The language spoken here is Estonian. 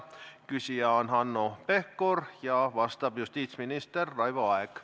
Küsija on Hanno Pevkur ja vastab justiitsminister Raivo Aeg.